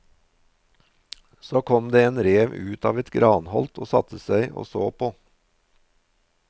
Så kom det en rev ut av et granholt og satte seg og så på.